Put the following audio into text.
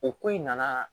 O ko in nana